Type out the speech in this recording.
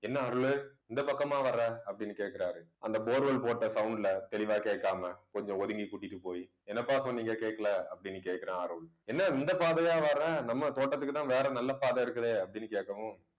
என்ன அருளு இந்த பக்கமா வர்ற அப்படின்னு கேட்கிறாரு. அந்த bore well போட்ட sound ல தெளிவாக கேட்காமல் கொஞ்சம் ஒதுங்கி கூட்டிட்டு போயி என்னப்பா சொன்னீங்க கேட்கல அப்படி கேட்கிற அருள் என்ன இந்த பாதையா வர்ற நம்ம தோட்டத்துக்குதான் வேற நல்ல பாதை இருக்குதே அப்படின்னு கேட்கவும்